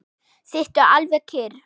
Sittu alveg kyrr.